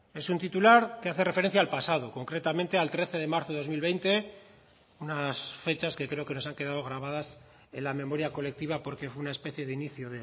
es un titular que hace referencia al pasado concretamente al trece de marzo de dos mil veinte unas fechas que creo que nos han quedado grabadas en la memoria colectiva porque fue una especie de inicio